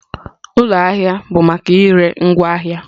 Ụlọ ahịa ahịa bụ maka ire ngwaahịa